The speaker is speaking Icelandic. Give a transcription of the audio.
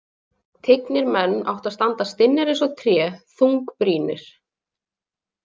Tignir menn áttu að standa stinnir eins og tré, þungbrýnir.